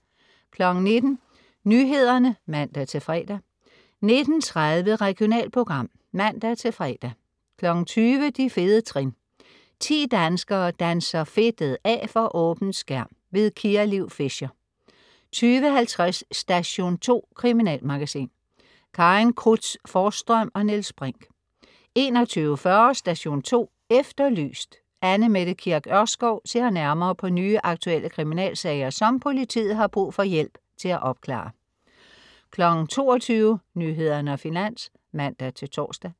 19.00 Nyhederne (man-fre) 19.30 Regionalprogram (man-fre) 20.00 De fede trin. 10 danskere danser fedtet af for åben skærm. Kia Liv Fischer 20.50 Station 2. Kriminalmagasin. Karin Cruz Forsstrøm og Niels Brinch 21.40 Station 2 Efterlyst. Anne Mette Kirk Ørskov ser nærmere på nye, aktuelle kriminalsager, som politiet har brug for hjælp til at opklare 22.00 Nyhederne og Finans (man-tors)